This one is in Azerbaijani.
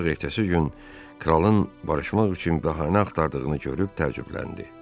Ancaq ertəsi gün kralın barışmaq üçün bəhanə axtardığını görüb təəccübləndi.